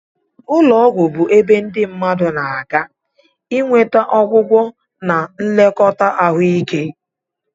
Ụlọ ọgwụ bụ ebe ndị mmadụ na-aga inweta ọgwụgwọ na nlekọta ahụike.